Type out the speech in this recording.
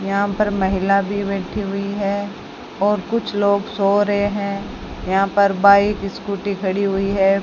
यहां पर महिला भी बैठी हुई है और कुछ लोग सो रहे हैं यहां पर बाइक स्कूटी खड़ी हुई है।